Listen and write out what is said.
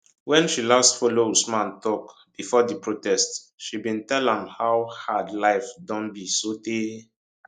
wen she last follow usman tok bifor di protest she bin tell am how hard life don be sotey